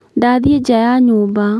Ndathiĩ njaa ya nyũmba